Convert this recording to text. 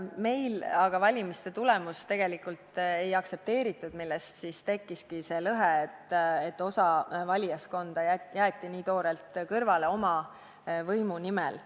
Meil aga valimiste tulemust tegelikult ei aktsepteeritud, sellest tekkiski see lõhe, et osa valijaskonda jäeti nii toorelt kõrvale oma võimu nimel.